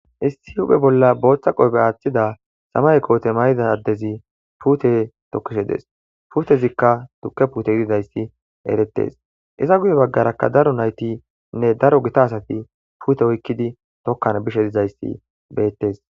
issi uphe bolla booththa qoobe aaththida samay koote may7idadezi puute tokishe des putezikka tukke puute yudidayssi erettes iza guye baggarakka daro naytinne daro gita asati puute oykkidi tokkan bishe dizayssi beettes